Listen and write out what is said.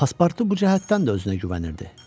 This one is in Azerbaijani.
Paspartu bu cəhətdən də özünə güvənirdi.